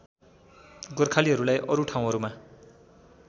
गोर्खालीहरूलाई अरु ठाउँहरूमा